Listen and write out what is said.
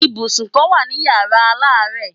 Ibùsùn kan wà ní Yàrá aláàárẹ̀.